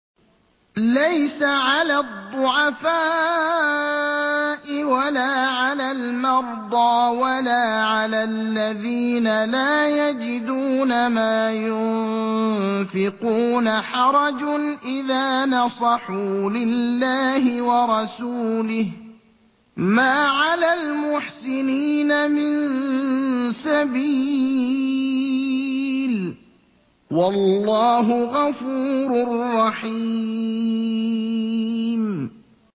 لَّيْسَ عَلَى الضُّعَفَاءِ وَلَا عَلَى الْمَرْضَىٰ وَلَا عَلَى الَّذِينَ لَا يَجِدُونَ مَا يُنفِقُونَ حَرَجٌ إِذَا نَصَحُوا لِلَّهِ وَرَسُولِهِ ۚ مَا عَلَى الْمُحْسِنِينَ مِن سَبِيلٍ ۚ وَاللَّهُ غَفُورٌ رَّحِيمٌ